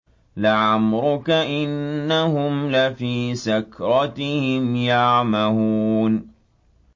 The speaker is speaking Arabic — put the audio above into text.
لَعَمْرُكَ إِنَّهُمْ لَفِي سَكْرَتِهِمْ يَعْمَهُونَ